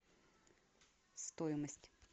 стоимость